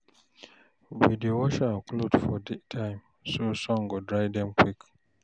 We dey wash our clothes for daytime so sun go dry dem quick.